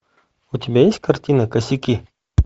у тебя есть картина косяки